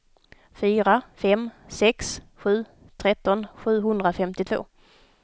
fyra fem sex sju tretton sjuhundrafemtiotvå